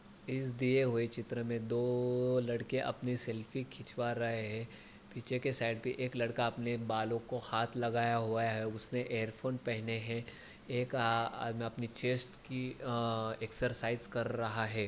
इस दिए हुए चित्र मे दो लड़के अपने सेल्फी खिचवा रहे है। पीछे के साइड मे एक लड़का अपने बालो को हाथ लगाया हुआ है उसने ईरफ़ोन पहने है एक आ अपने चेस्ट की अ एक्सरसाइज कर रहा है।